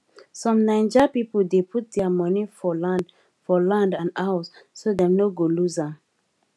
some naija people dey put their money for land for land and house so dem no go lose am